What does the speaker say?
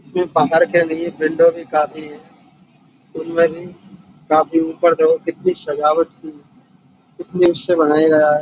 इसमें बाहर के लिए विंडो भी काफी है। उनमें भी काफी ऊपर देखो कितनी सजावट की है। से बनाया गया है।